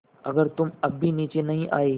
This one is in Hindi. अगर तुम अब भी नीचे नहीं आये